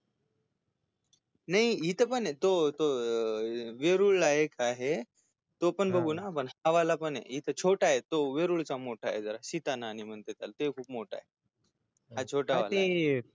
नाही इथ पणय तो तो अं वेरुळ ला एक आहे तो पण बघू ना आपण हा वाला पणय इथ छोटाय तो खूप मोठा य सिता न्हाणी म्हणतात त्याला तो खूप मोठाय हा छोटावालाय हा ते